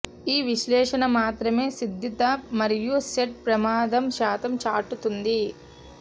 ఈ విశ్లేషణ మాత్రమే సిద్ధత మరియు సెట్ ప్రమాదం శాతం చాటుతుంది